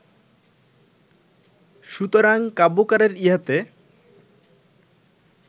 সুতরাং কাব্যকারের ইহাতে